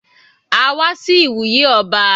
A wá sí ìwúyè ọba.